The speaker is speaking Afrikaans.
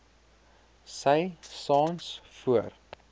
sy saans voor